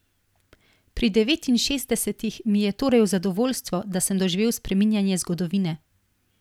Pri devetinšestdesetih mi je torej v zadovoljstvo, da sem doživel spreminjanje zgodovine.